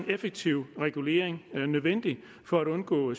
effektiv regulering nødvendig for at undgå